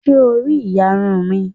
Ṣé o rí ìyarun mi?